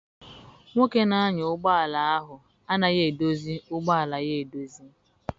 Nwoke na-anya ụgbọala ahụ anaghị edozi ụgbọala ya edozi.